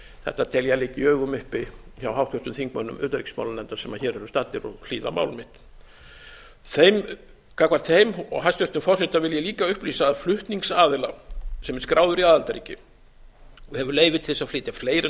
þetta tel ég að liggi í augum uppi hjá háttvirtum þingmönnum utanríkismálanefndar sem hér eru staddir og hlýða á mál mitt gagnvart þeim og hæstvirtan forseta vil ég líka upplýsa að flutningsaðila sem skráður er í aðildarríki og hefur leyfi til þess að flytja fleiri